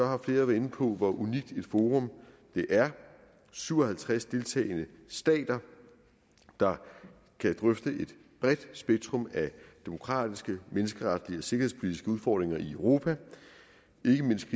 har flere været inde på hvor unikt et forum det er syv og halvtreds deltagende stater der kan drøfte et bredt spektrum af demokratiske menneskeretlige og sikkerhedspolitiske udfordringer i europa ikke mindst